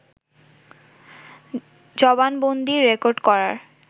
জবানবন্দী record করার